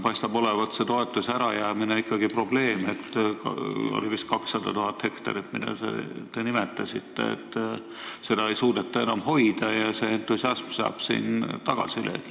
Selle toetuse ärajäämine paistab ikkagi probleem olevat – te vist nimetasite 200 000 hektarit, mida ei suudeta enam hoida, ja et see entusiasm saab tagasilöögi.